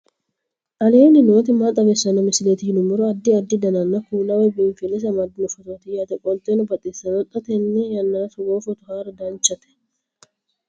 aleenni nooti maa xawisanno misileeti yinummoro addi addi dananna kuula woy biinsille amaddino footooti yaate qoltenno baxissannote xa tenne yannanni togoo footo haara danvchate